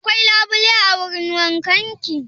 Akwai labule a wurin wankan ki?